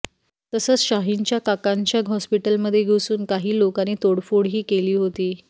तसंच शाहीनच्या काकांच्या हॉस्पीटलमध्ये घुसून काही लोकांनी तोडफोडही केली होती